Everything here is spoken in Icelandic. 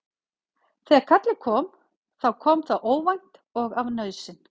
Þegar kallið kom þá kom það óvænt og af nauðsyn.